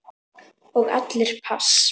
Og allir pass.